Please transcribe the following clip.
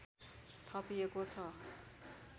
थपिएको छ